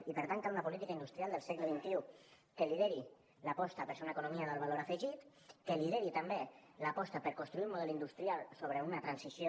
i per tant cal una política industrial del segle xxi que lideri l’aposta per ser una economia d’alt valor afegit que lideri també l’aposta per construir un model industrial sobre una transició